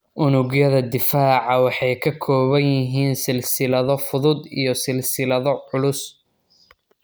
Unugyada difaaca waxay ka kooban yihiin silsilado fudud iyo silsilado culus.